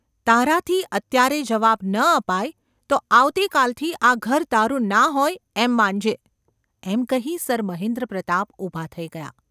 તારાથી અત્યારે જવાબ ન અપાય તો આવતી કાલથી આ ઘર તારું ના હોય એમ માનજે !’ એમ કહી સર મહેન્દ્રપ્રતાપ ઊભા થઈ ગયા.